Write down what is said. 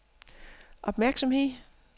opmærksomhed